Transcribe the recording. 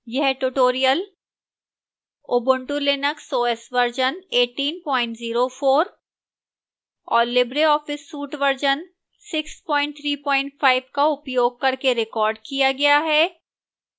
यह tutorial ubuntu linux os version 1804 और libreoffice suite version 635 का उपयोग करके recorded किया गया है